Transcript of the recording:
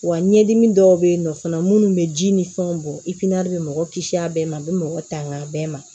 Wa ɲɛdimi dɔw bɛ yen nɔ fana minnu bɛ ji ni fɛnw bɔ i pilɛri bɛ mɔgɔ kisi a bɛɛ ma a bɛ mɔgɔ tanga a bɛɛ ma